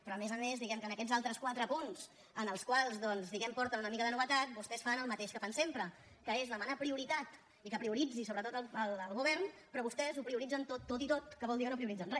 però a més a més diguem ne que en aquests altres quatre punts en els quals doncs aporten una mica de novetat vostès fan el mateix que fan sempre que és demanar prioritat i que prioritzi sobretot el govern però vostès ho prioritzen tot tot i tot que vol dir que no prioritzen re